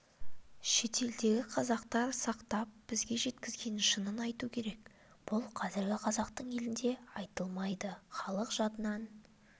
шетелдегі қазақтар сақтап бізге жеткізген шынын айту керек бұл қазіргі қазақстан елінде айтылмайды халық жадынан